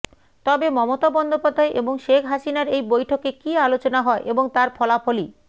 তবে মমতা বন্দ্যোপাধ্যায় এবং শেখ হাসিনার এই বৈঠকে কী আলোচনা হয় এবং তার ফলাফলই